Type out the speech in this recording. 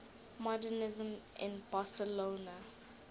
modernisme in barcelona